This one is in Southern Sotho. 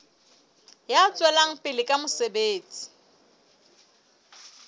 ya tswelang pele ka mosebetsi